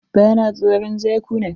Ba na tsoron zakuna.